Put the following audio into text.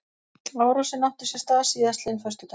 Árásin átti sér stað síðastliðinn föstudag